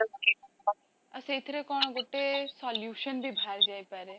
ଆଉ ସେଇଥିରେ କଣ ଗୋଟେ solution ବି ବାହାରିଯାଇ ପାରେ